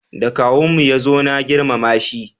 Da kawun mu ya zo na girmama shi